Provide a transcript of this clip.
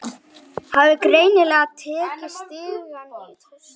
Hafði greinilega tekið stigann í stökki.